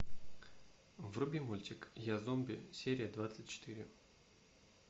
вруби мультик я зомби серия двадцать четыре